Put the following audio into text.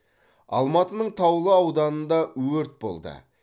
алматының таулы ауданында өрт болды